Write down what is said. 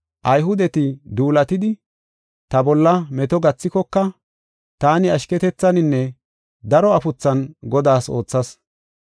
Ayhudeti duulatidi ta bolla meto gathikoka taani ashketethaninne daro afuthan Godaas oothas.